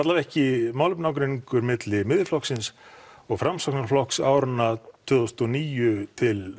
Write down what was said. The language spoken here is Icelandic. ekki málefnaágreiningur milli Miðflokksins og Framsóknarflokks áður en að tvö þúsund og níu til